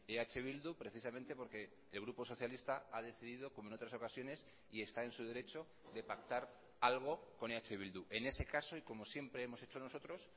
eh bildu precisamente porque el grupo socialista ha decidido como en otras ocasiones y está en su derecho de pactar algo con eh bildu en ese caso y como siempre hemos hecho nosotros